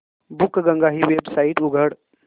बुकगंगा ही वेबसाइट उघड